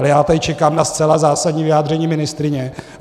Ale já tady čekám na zcela zásadní vyjádření ministryně.